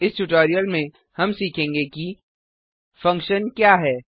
इस ट्यूटोरियल में हम सीखेंगे कि फंक्शन क्या है